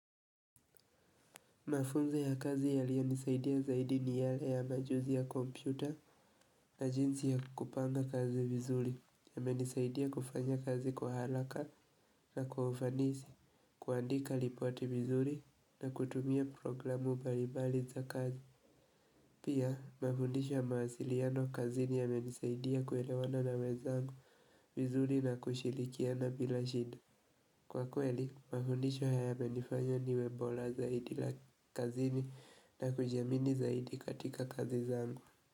Mafunzo ya kazi yaliyonisaidia zaidi ni yale ya majuzi ya kompyuta na jinsi ya kupanga kazi vizuri yamenisaidia kufanya kazi kwa haraka na kwa ufanisi, kuandika lipoti vizuri na kutumia programu mbali mbali za kazi. Pia, mafundisho ya mawasiliano kazini yamenisaidia kuelewana na wenzangu vizuri na kushirikiana bila shida. Kwa kweli, mafundisho haya yamenifanya niwe bora zaidi la kazini na kujiamini zaidi katika kazi zangu.